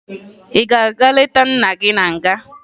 Ị ga-aga leta nna gị na nga?